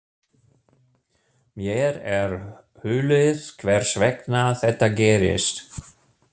Mér er hulið hvers vegna þetta gerist.